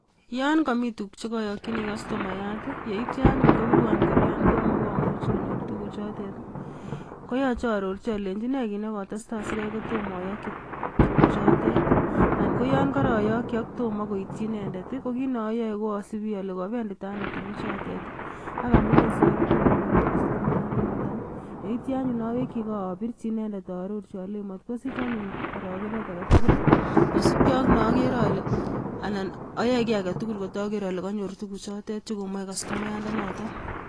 Yon komi tuguuk chekoyokyiini kastomayat yeityoo anyun kobiruon kolenyoon tomo komuch konyoor tuguchotet, koyoche aarorchi olenyii nee kit nekotestai sitomotokyii tuguchotet. Anan koyon koroyokyii ak tomo koityoo inendet. Ko kit neoyoe koosibi ole kobenditaa anoo tugukchutot ak amune sikai kotomo konyoor kastomayandaanoton. Yeityoo anyone awekyii gee abirchi inendet alenyii mot kosich anyun arokenet agetugul kosiibge ak neogere anan ayoe kit agetugul kot ager alekonyoor tuguchotet chekomoe kastomayandanoton